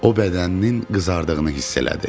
O bədəninin qızardığını hiss elədi.